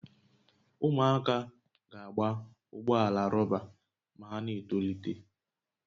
Ụmụaka ga-agba ụgbọ ala rọba ma ha na-etolite